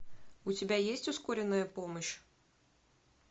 у тебя есть ускоренная помощь